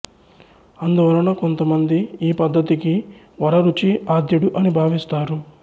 అందువలన కొంతమంది ఈ పద్ధతికి వరరుచి ఆద్యుడు అని భావిస్తారు